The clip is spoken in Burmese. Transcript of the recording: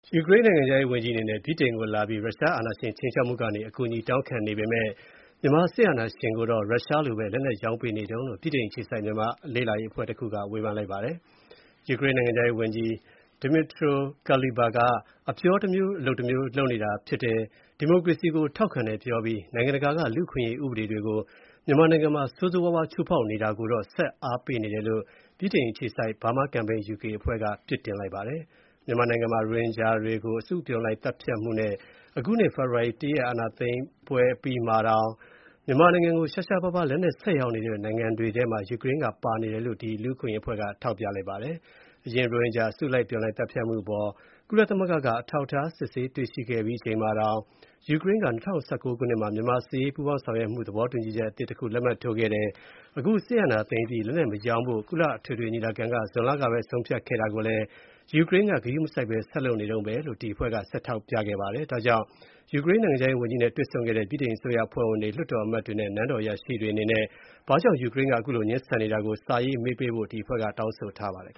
ယူကရိန်းနိုင်ငံခြားရေးဝန်ကြီးအနေနဲ့ ဗြိတိန်လာပြီး ရုရှားအာဏာရှင်ခြိမ်းခြောက်မှုကနေ အကူအညီတောင်းခံနေပေမယ့် မြန်မာစစ်အာဏာရှင်ကိုတော့ ရုရှားလိုပဲ လက်နက်ရောင်းပေးနေတုန်းလို့ ဗြိတိန် အခြေစိုက်မြန်မာ့အရေးအဖွဲ့တခုက ဝေဖန်လိုက်ပါတယ်။ ယူကရိန်းနိုင်ငံခြားရေးဝန်ကြီး Dmytro Kuleba ဟာ အပြောတမျိုး အလုပ်တမျိုးဖြစ်နေတယ်၊ ဒီမိုကရေစီကိုထောက်ခံတယ်ပြောပြီး နိုင်ငံတကာက လူ့အခွင့်အရေးဥပဒေတွေကို မြန်မာမှာ ဆိုးဆိုးဝါးဝါးချိုးဖောက်နေတာကိုတော့ ဆက် အားပေးနေတယ်လို့ ဗြိတိန်အခြေစိုက် Burma Campaign UK အဖွဲ့က အပြစ်တင်လိုက်ပါတယ်။ မြန်မာနိုင်ငံမှာ အရင် ရိုဟင်ဂျာတွေကို အစုအပြုံလိုက် သတ်ဖြတ်မှုနဲ့ အခုနှစ် ဖေဖော်ဝါရီ ၁ ရက် အာဏာသိမ်းပွဲအပြီးမှာတောင် မြန်မာနိုင်ငံကို ရှားရှားပါးပါး လက်နက်ဆက်ရောင်းနေတဲ့ နိုင်ငံတွေထဲမှာ ယူကရိန်း ပါနေတယ်လို့ ဒီလူ့အခွင့်အရေးအဖွဲ့က ထောက်ပြပါတယ်။ အရင် ရိုဟင်ဂျာ အစုအပြုံလိုက်သတ်ဖြတ်မှုအပေါ် ကုလသမဂ္ဂက အထောက်အထား စစ်ဆေးတွေ့ရှိခဲ့ပြီးချိန်မှာတောင် ယူကရိန်းက ၂၀၁၉ ခုနှစ်မှာ မြန်မာနဲ့ စစ်ရေးပူးပေါင်းဆောင်ရွက်မှု သဘောတူချက်အသစ်လက်မှတ်ထိုးခဲ့တယ်၊ အခု အာဏာသိမ်းအပြီး လက်နက်မရောင်းဖို့ ကုလအထွေထွေညီလာခံက ဇွန်လကပဲ ဆုံးဖြတ်ခဲ့တာကိုလည်း ယူကရိန်းက ဂရုမစိုက်ဆက်လုပ်နေဆဲဖြစ်ကြောင်း ဒီအဖွဲ့က ဆက်ထောက်ပြခဲ့ပါတယ်။ ဒါကြောင့် ယူကရိန်းနိုင်ငံခြားရေးဝန်ကြီးနဲ့ တွေ့ဆုံခဲ့တဲ့ ဗြိတိန် အစိုးရအဖွဲ့ဝင်တွေ၊ လွှတ်တော်အမတ်တွေနဲ့ နန်းတော်အရာရှိတွေအနေနဲ့ ဘာကြောင့် ယူကရိန်းက ခုလို ငြင်းဆန်နေတာကို စာရေးမေးပေးဖို့ ဒီအဖွဲ့က တောင်းဆိုထားပါတယ်။